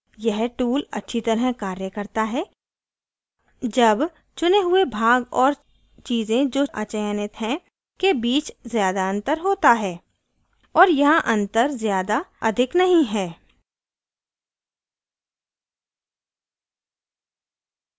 यह tool अच्छी तरह कार्य करता है जब चुने हुए भाग और चीज़ें जो अचयनित है के बीच ज़्यादा अंतर होता है और यहाँ अंतर ज़्यादा अधिक नहीं है